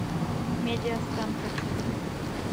медиастан хочу